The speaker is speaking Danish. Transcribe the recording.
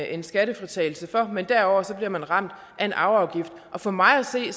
en skattefritagelse for men derudover bliver man ramt af en arveafgift for mig at se